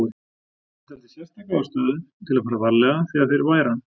Hann taldi sérstaka ástæðu til að fara varlega þegar þeir væru ann